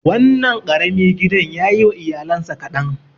Wannan ƙarami gidan yayi wa iyalansa kaɗan.